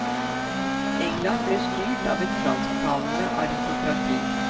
England ble styrt av et fransktalende aristokrati.